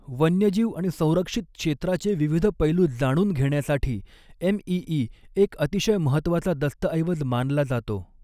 वन्यजीव आणि संरक्षित क्षेत्राचे विविध पैलू जाणून घेण्यासाठी एमईई एक अतिशय महत्वाचा दस्तऐवज मानला जातो.